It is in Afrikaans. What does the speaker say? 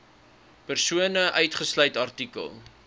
persone uitgesluit artikel